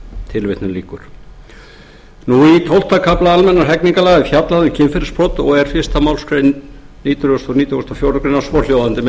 tilvitnun lýkur í tuttugasta og öðrum kafla almennra hegningarlaga er fjallað um kynferðisbrot og er fyrsta málsgrein hundrað nítugasta og fjórðu grein svohljóðandi með